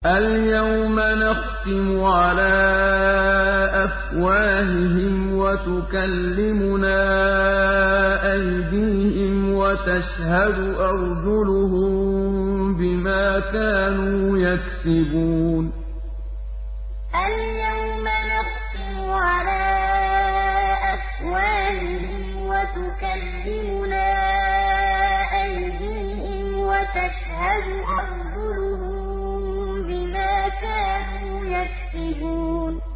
الْيَوْمَ نَخْتِمُ عَلَىٰ أَفْوَاهِهِمْ وَتُكَلِّمُنَا أَيْدِيهِمْ وَتَشْهَدُ أَرْجُلُهُم بِمَا كَانُوا يَكْسِبُونَ الْيَوْمَ نَخْتِمُ عَلَىٰ أَفْوَاهِهِمْ وَتُكَلِّمُنَا أَيْدِيهِمْ وَتَشْهَدُ أَرْجُلُهُم بِمَا كَانُوا يَكْسِبُونَ